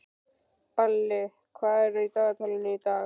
Balli, hvað er í dagatalinu í dag?